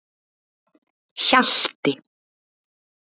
Hjalti